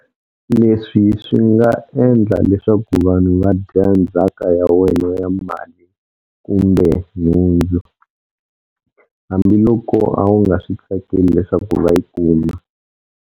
Leswi swi nga endla leswaku vanhu va dya ndzhaka ya wena ya mali kumbe nhundzu, hambiloko a wu nga swi tsakeli leswaku va yi kuma.